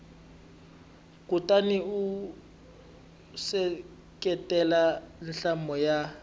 kutani u seketela nhlamulo ya